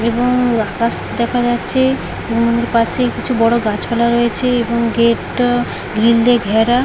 এবং আকাশ দেখা যাচ্ছে এবং এর পাশে কিছু বড় গাছপালা রয়েছে এবং গেট টা গ্রিল দিয়ে ঘেরা।